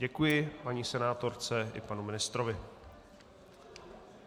Děkuji paní senátorce i panu ministrovi.